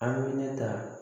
An bɛ ne ta